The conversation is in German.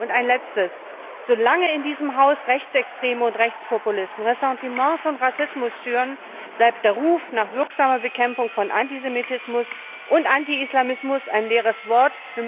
Und ein Letztes Solange in diesem Haus Rechtsextreme und Rechtspopulisten Ressentiments und Rassismus schüren, bleibt der Ruf nach wirksamer Bekämpfung von Antisemitismus und Antiislamismus ein leeres Wort.